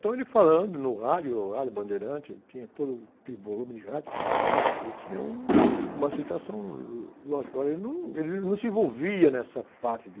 Então, ele falando no rádio, o Rádio Bandeirante, tinha todo aquele volume de rádio, ele tinha um, uma aceitação, lógico, mas ele não se envolvia nessa parte de...